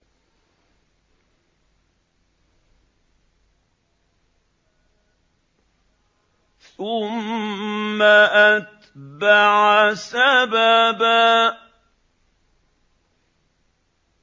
ثُمَّ أَتْبَعَ سَبَبًا